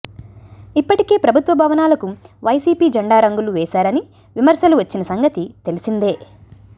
ఇప్పటికే ప్రభుత్వ భవనాలకు వైసీపీ జెండా రంగులు వేశారని విమర్శలు వచ్చిన సంగతి తెలిసిందే